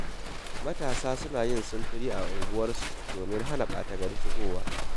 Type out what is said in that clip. Matasa suna yin sintiri a unguwanninsu domin hana ɓata-gari shigowa.